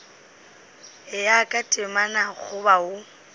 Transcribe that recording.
ya ka temana goba o